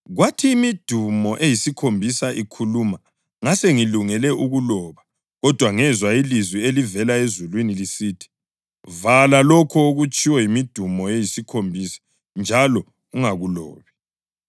Kwathi imidumo eyisikhombisa ikhuluma ngasengilungele ukuloba kodwa ngezwa ilizwi elavela ezulwini lisithi, “Vala lokho okutshiwo yimidumo eyisikhombisa njalo ungakulobi.”